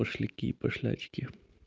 пошляки и пошлячки